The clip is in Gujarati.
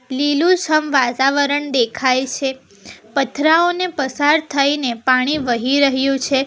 લીલુછમ વાતાવરણ દેખાય છે પથરાઓને પસાર થઈને પાણી વહી રહ્યું છે.